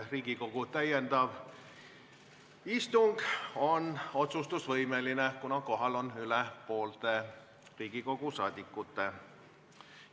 Riigikogu täiendav istung on otsustusvõimeline, kuna kohal on rohkem kui pooled Riigikogu liikmed.